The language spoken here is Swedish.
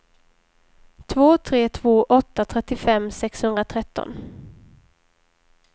två tre två åtta trettiofem sexhundratretton